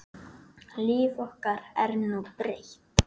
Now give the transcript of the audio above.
Líf okkar er nú breytt